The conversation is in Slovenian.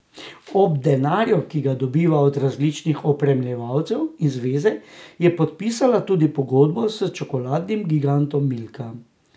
Ob denarju, ki ga dobiva od različnih opremljevalcev in zveze, je podpisala tudi pogodbo s čokoladnim gigantom Milka.